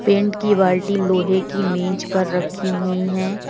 Paint की बाल्टी लोहे की मेज पर रखी हुई है।